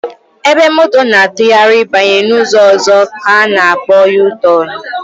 Ebe moto na-atụgharị banye n'ụzọ ọzọ ka a na akpọ yutọnụ